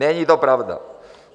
Není to pravda.